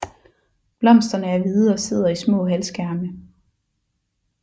Blomsterne er hvide og sidder i små halvskærme